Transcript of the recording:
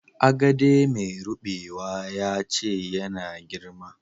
Agade mai rubewa ya ce ya na girma.